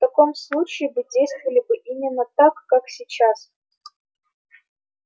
в таком случае вы действовали бы именно так как сейчас